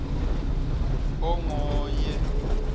ongoye